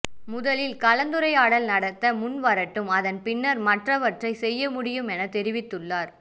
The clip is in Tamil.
முதலில் கலந்துரையாடல் நடத்த முன்வரட்டும் அதன் பின்னர் மற்றவற்றை செய்ய முடியும் என தெரிவித்துள்ளார்